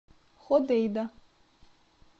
ходейда